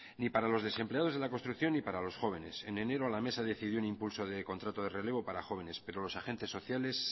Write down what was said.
ni para los desempleados de la construcción ni para los jóvenes en enero la mesa decidió un impulso de contrato de relevo para jóvenes pero los agentes sociales